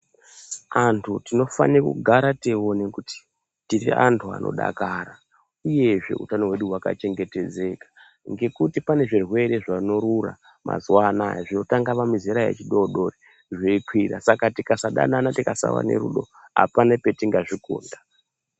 Antu tinofane kugara teione kuti tiri antu anodakara uyezve utano hwedu hwakachengetedzeka ngekuti pane zvirwere zvinorura mazuwa anaya zvinotanga pamizera yechidodori zveikwira saka tikasadanana tikasava nerudo apana petingazvikunda.